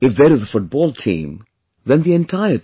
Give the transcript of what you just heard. If there is a football team, then the entire team